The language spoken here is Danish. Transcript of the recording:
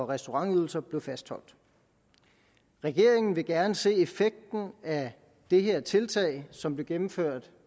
restaurantydelser blev fastholdt regeringen vil gerne se effekten af dette tiltag som blev gennemført